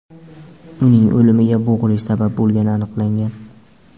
Uning o‘limiga bo‘g‘ilish sabab bo‘lgani aniqlangan.